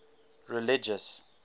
religious